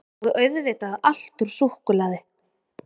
Og auðvitað allt úr súkkulaði